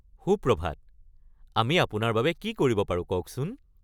সুপ্ৰভাত, আমি আপোনাৰ বাবে কি কৰিব পাৰো কওকচোন? (আৰক্ষী)